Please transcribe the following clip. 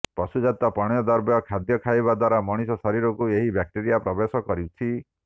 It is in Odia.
ପଶୁଜାତ ପଣ୍ୟ ଦ୍ରବ୍ୟ ଖାଦ୍ୟ ଖାଇବା ଦ୍ୱାରା ମଣିଷ ଶରୀରକୁ ଏହି ବ୍ୟାକ୍ଟେରିଆ ପ୍ରବେଶ କରୁଛି